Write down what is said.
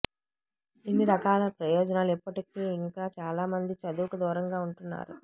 ఇన్ని రకాల ప్రయోజనాలు ఉన్నప్పటికీ ఇంకా చాలామంది చదువుకు దూరంగా ఉంటున్నారు